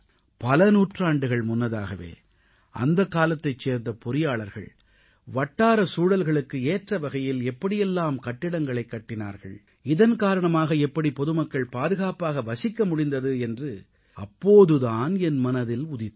பல நூற்றாண்டுகள் முன்னதாகவே அந்தக் காலத்தைச் சேர்ந்த பொறியாளர்கள் வட்டார சூழல்களுக்கு ஏற்ற வகையில் எப்படியெல்லாம் கட்டிடங்களைக் கட்டினார்கள் இதன் காரணமாக எப்படி பொதுமக்கள் பாதுகாப்பாக வசிக்க முடிந்தது என்று அப்போது தான் என் மனதில் உதித்தது